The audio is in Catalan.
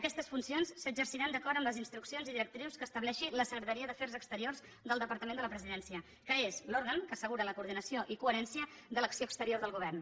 aquestes funcions s’exerciran d’acord amb les instruccions i directrius que estableixi la secretaria d’afers exteriors del departament de la presidència que és l’òrgan que assegura la coordinació i coherència de l’acció exterior del govern